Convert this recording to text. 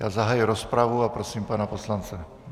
Já zahajuji rozpravu a prosím pana poslance.